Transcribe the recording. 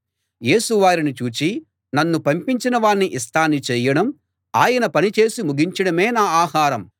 యేసు వారిని చూసి నన్ను పంపించిన వాని ఇష్టాన్ని చేయడం ఆయన పని చేసి ముగించడమే నా ఆహారం